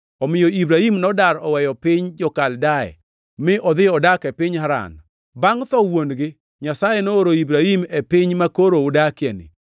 “Omiyo Ibrahim nodar oweyo piny jo-Kaldea mi odhi odak e piny Haran. Bangʼ tho wuon-gi, Nyasaye nooro Ibrahim e piny makoro udakieni.